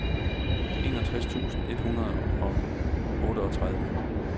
enogtres tusind et hundrede og otteogtredive